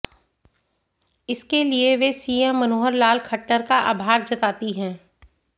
इसके लिए वे सीएम मनोहर लाल खट्टर का आभार जताती हैं